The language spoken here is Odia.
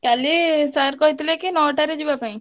କାଲି sir କହିଥିଲେ କି ନଅଟାରେ ଯିବା ପାଇଁ।